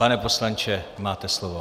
Pane poslanče, máte slovo.